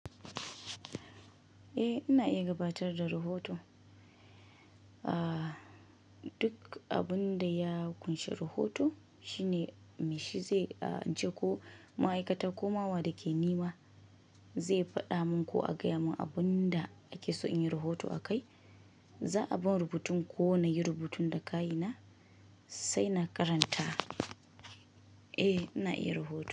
Eh ina iya gabatar da rahoto. Duk abin da ya ƙunshi rahoto shine mai shi zai je ko ma'aikata ko ma wa da ke nema zai faɗa min ko a gaya mun abin da ake so in yi rahoto akai. Za a bani rubutun ko na yi rubutun da ka ina sai na karanta. Eh ina iya rahoto.